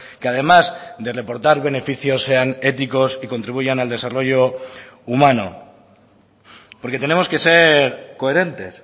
que además de reportar beneficios sean éticos y contribuyan al desarrollo humano porque tenemos que ser coherentes